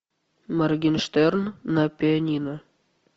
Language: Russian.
моргенштерн на пианино